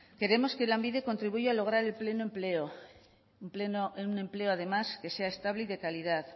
queremos que lanbide contribuya a lograr el pleno empleo un empleo además que sea estable y de calidad